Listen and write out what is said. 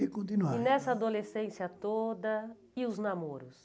e continuaram, tá. E nessa adolescência toda, e os namoros?